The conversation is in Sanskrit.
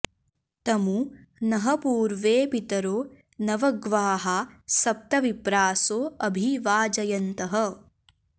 तमु नः पूर्वे पितरो नवग्वाः सप्त विप्रासो अभि वाजयन्तः